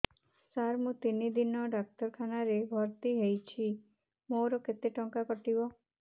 ସାର ମୁ ତିନି ଦିନ ଡାକ୍ତରଖାନା ରେ ଭର୍ତି ହେଇଛି ମୋର କେତେ ଟଙ୍କା କଟିବ